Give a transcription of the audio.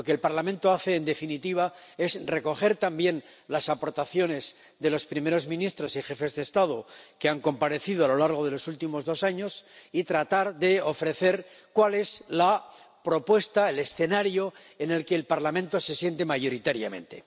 Lo que el Parlamento hace, en definitiva, es recoger también las aportaciones de los primeros ministros y jefes de Estado que han comparecido a lo largo de los últimos dos años y tratar de ofrecer cuál es la propuesta, el escenario, en el que el Parlamento se siente mayoritariamente.